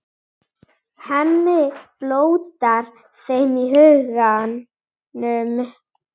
Hemmi blótar þeim í huganum.